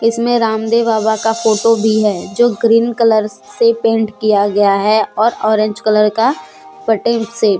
इसमें रामदेव बाबा का फोटो भी है जो ग्रीन कलर से पेंट किया गया हैऔर ऑरेंज कलर का पटे से--